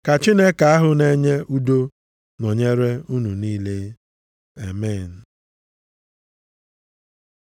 Ka Chineke ahụ na-enye udo, nọnyere unu niile. Amen.